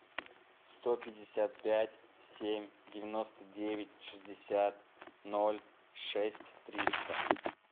сто пятьдесят пять семь девяносто девять шестьдесят ноль шесть триста